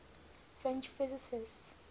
french physicists